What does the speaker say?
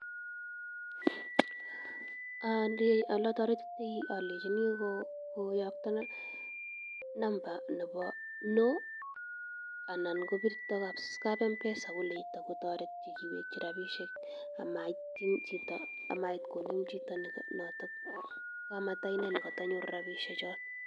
Alotoretitoi alenchini ko koyokto number nebo no anan kopirto kwo kap M-Pesa koleito kotoretyi keweki rabishek amait konem chito noto kamataine ne koto nyoru rabishek cho.